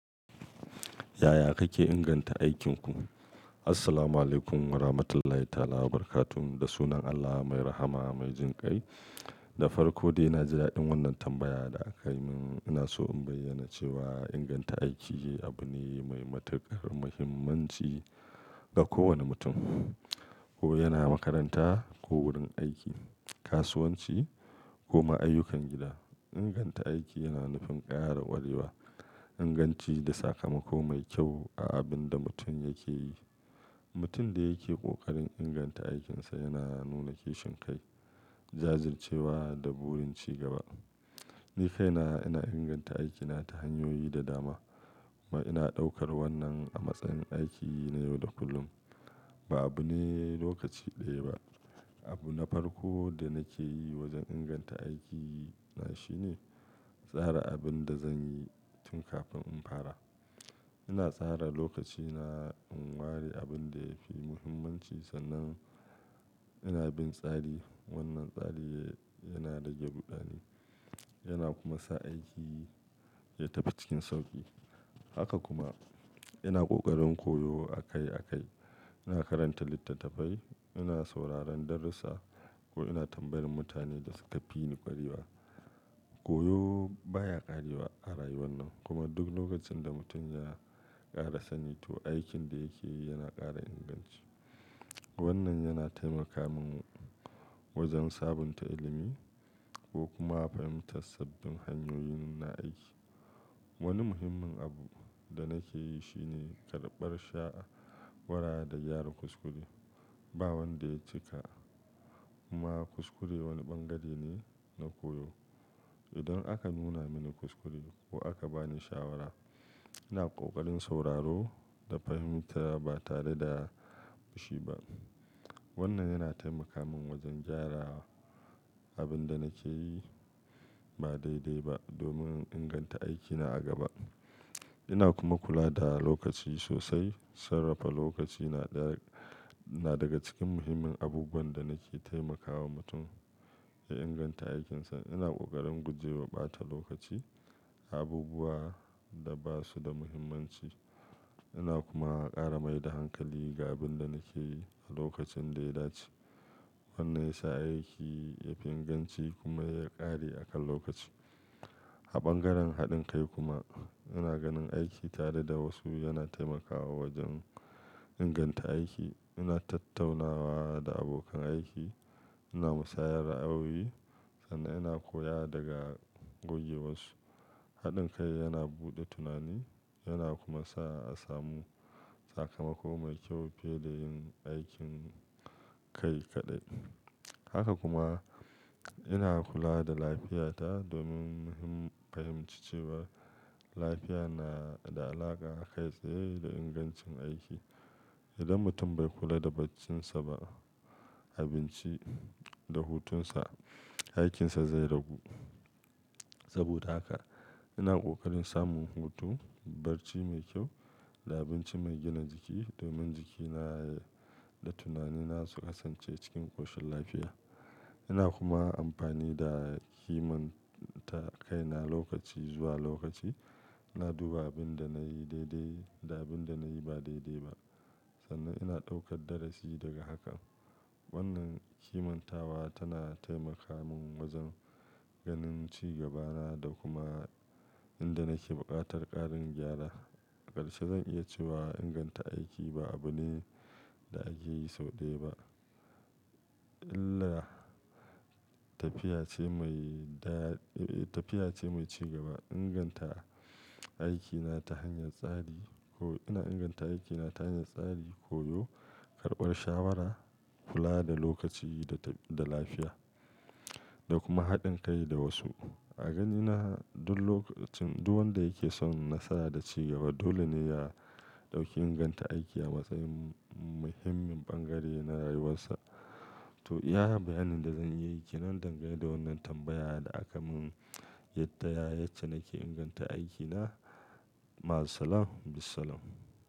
Yaya kake inganta aikinku? Assalamualaikum warahmatullahi taala wabarakatuhu. Da sunan Allah mai rahama mai jinƙai. Da farko dai, na ji da'din wannan tambaya da aka yi min. Ina so in bayyana cewa inganta aiki abu ne mai matukar muhimmanci ga kowane mutum, ko yana makaranta ko wurin aiki, kasuwanci ko ma ayyukan gida. Inganta aiki yana nufin ƙara ƙwarewa, inganci da sakamako mai kyau a abin da mutum yake yi. Mutum da yake ƙoƙarin inganta aikinsa yana nuna kishin kai, jajircewa da burin cigaba. Ni kaina ina inganta aikina ta hanyoyi da dama. Ina ɗaukar wannan a matsayin aiki na yau da kullum, ba abu ne lokaci ɗaya ba. Abu na farko da nake yi wajen inganta aikina shine tsara abin da zan yi tun kafin in fara. Ina tsara lokacina in ware abin da yake muhimmanci sannan ina bin tsari. Wannan tsari yana rage ruɗani yana kuma sa aiki ya tafi cikin sauƙi. Haka kuma, ina ƙoƙarin koyo akai akai. Ina karanta littattafai, ina sauraron darussa ko ina tambayar mutane da suka fi ni ƙwarewa. Koyo baya ƙarewa a rayuwar nan, kuma duk lokacin da mutum ya ƙara sanin to aikin da yake yi yana ƙara inganci. Wannan yana taimaka min wajen sabunta ilimi ko kuma fahimtar sabbin hanyoyin na aiki. Wani muhimmin abu da nake yi shi ne karɓar sha'awara da gyara kuskure. Ba wanda ya cika, kuma kuskure wani ɓangare ne na koyo. Idan aka nuna mini kuskure ko aka ba ni shawara, ina ƙoƙarin sauraro da fahimta ba tare da fishi ba. Wannan yana taimaka min wajen gyara abin da nake yi ba daidai ba domin inganta aikina a gaba. Ina kuma kula da lokaci sosai. Sarrafa lokaci na daga cikin muhimmin abubuwan da nake taimakawa mutum ya inganta aikinsa. Ina ƙoƙarin guje wa ɓata lokaci a abubuwa da ba su da muhimmanci. Ina kuma ƙara mai da hankali ga abin da nake yi a lokacin da ya dace. Wannan ya sa aiki yafi inganci kuma ya ƙare a kan lokaci. A ɓangaren haɗin kai kuma, ina ganin aiki tare da wasu yana taimakawa wajen inganta aiki. Ina tattaunawa da abokan aiki, ina musayar ra'ayoyi sannan ina koya daga gogewarsu. Haɗin kai yana buɗe tunani yana kuma sa a samu sakamako mai kyau fiye da yin aikin kai kaɗai. Haka kuma, ina kula da lafiyata domin fahimci cewa lafiya na da alaƙa kai tsaye da ingancin aiki. Idan mutum bai kula da barcinsa ba, abinci da hutunsa, aikinsa zai ragu. Saboda haka ina ƙoƙarin samun hutu, barci mai kyau da abinci mai gina jiki domin jikina da tunanina su kasance cikin ƙoshin lafiya. Ina kuma amfani da himta kaina lokaci zuwa lokaci. Na duba abin da na yi daidai da abin da na yi ba daidai ba sannan ina ɗaukar darasi daga hakan. Wannan himmatawa tana taimaka min wajen ganin cigabana da kuma inda nake ɓakutar ƙarin gyara. Ƙarshe zan iya cewa inganta aiki ba abu ne da ake yi sau ɗaya ba illa tafiya ce mai tafiya ce mai cigaba. Inganta aikina ta hanyar tsari ko ina inganta aikina ta hanyar tsari, koyo, karɓar shawara, kula da lokaci da lafiya da kuma haɗin kai da wasu. A ganina duk wanda yake son nasara da cigaba dole ne ya ɗauki inganta aiki a matsayin muhimmin ɓangare na rayuwarsa. To, iya bayanin da zan iya yi kenan dangane da wannan tambaya da aka mun? Yadda yace nake inganta aikina? Ma'as-salam, bisalam.